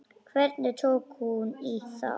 Hvernig tók hún í það?